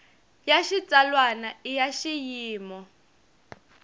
ya xitsalwana i ya xiyimo